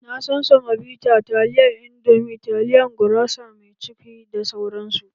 Na san semobita taliyan indomi, taliya gurasa mai cukwi da sauransu